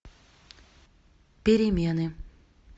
перемены